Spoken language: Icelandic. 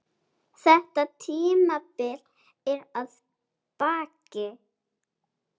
Þetta tímabil er að baki.